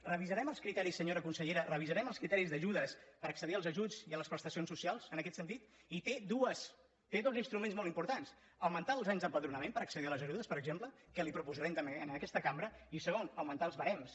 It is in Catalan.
revisarem els criteris senyora consellera revisarem els criteris d’ajudes per accedir als ajuts i a les prestacions socials en aquest sentit té dos instruments molt importants augmentar els anys d’empadronament per accedir a les ajudes per exemple que li ho proposarem també en aquesta cambra i segon augmentar els barems